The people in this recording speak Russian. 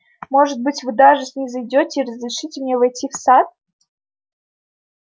может быть вы даже снизойдёте и разрешите мне войти в сад